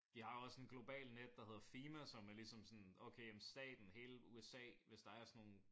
De har også en global net der hedder FEMA som er ligesom sådan okay staten hele USA hvis der er sådan nogen